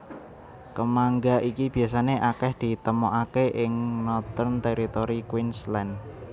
Kemangga iki biasané akèh ditemokaké ing Northern Territory Queensland